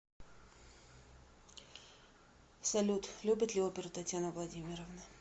салют любит ли оперу татьяна владимировна